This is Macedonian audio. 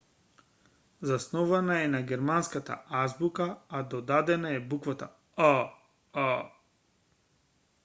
заснована е на германската азбука а додадена е буквата õ/õ